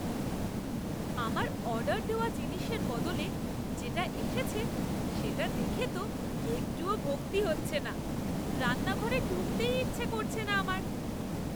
আমার অর্ডার দেওয়া জিনিসের বদলে যেটা এসেছে সেটা দেখে তো একটুও ভক্তি হচ্ছে না। রান্নাঘরে ঢুকতেই ইচ্ছা করছে না আমার।